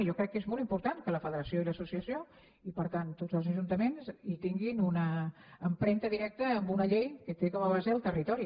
i jo crec que és molt important que la federació i l’associació i per tant tots els ajuntaments tinguin una empremta directa en una llei que té com a base el territori